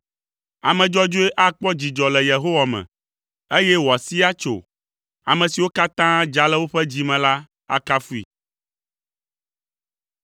Ame dzɔdzɔe akpɔ dzidzɔ le Yehowa me, eye wòasii atso. Ame siwo katã dza le woƒe dzi me la akafui!